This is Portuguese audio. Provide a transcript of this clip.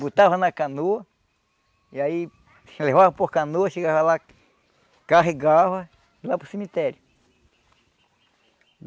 Botava na canoa, e aí levava por canoa, chegava lá, carregava e ia para o cemitério.